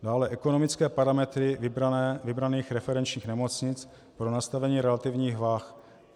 Dále ekonomické parametry vybraných referenčních nemocnic pro nastavení relativních vah.